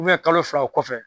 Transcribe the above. Ubiyɛn kalo fila o kɔfɛ